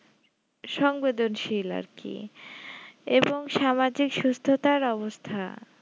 সংবেদনশীল আরকি এবং সমাজের সুস্থতার অবস্থা